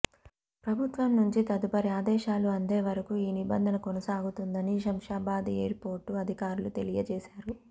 ప్రభుత్వం నుంచి తదుపరి ఆదేశాలు అందే వరకు ఈ నిబంధన కొనసాగుతుందని శంషాబాద్ ఎయిర్పోర్టు అధికారులు తెలియజేశారు